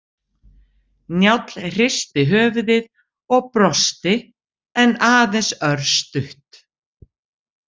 Njáll hristi höfuðið og brosti en aðeins örstutt.